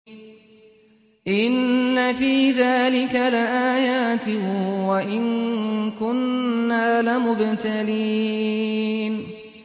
إِنَّ فِي ذَٰلِكَ لَآيَاتٍ وَإِن كُنَّا لَمُبْتَلِينَ